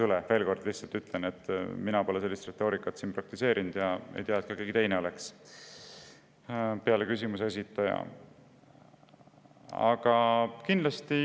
Ma lihtsalt veel kord ütlen, et mina pole sellist retoorikat siin praktiseerinud ja ma ei tea, et ka keegi teine peale küsimuse esitaja oleks seda teinud.